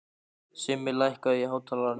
Simmi, lækkaðu í hátalaranum.